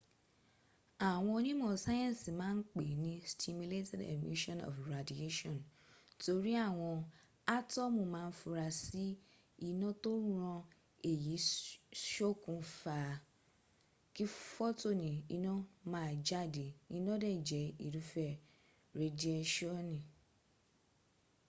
àwọn onímọ̀ sáyẹ́nsì ma n pè ní stimulated emission of radiation” torí àwọn átọ́mù ma ń fura sí iná tó ràn èyí ṣokùn fa kí fotoni ina maa jáde, iná dẹ̀ jẹ́ irúfẹ́ redieṣọ́ni